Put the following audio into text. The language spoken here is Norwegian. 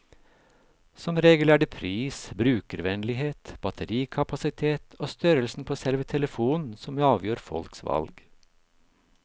Som regel er det pris, brukervennlighet, batterikapasitet og størrelsen på selve telefonen som avgjør folks valg.